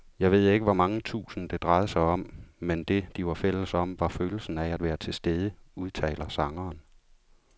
Jeg ved ikke hvor mange tusind, det drejede sig om, men det, de var fælles om, var følelsen af at være tilstede, udtaler sangeren.